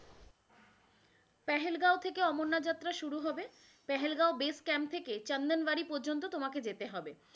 পেহেল গ্যাও থেক অমরনাথ যাত্রা শুরু হবে, পেহেল গ্যাও base camp থেকে চন্দনবাড়ি প্রযন্ত তোমাকে যেতে হবে,